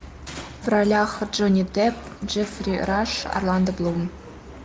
в ролях джонни депп джеффри раш орландо блум